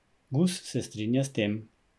Gus se strinja s tem.